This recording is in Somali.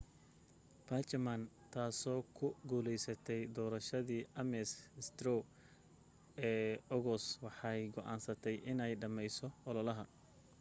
bachmann taasoo ku guuleysatay doorashadii ames straw ee ogos waxay go'aansatay inay dhameyso ololaha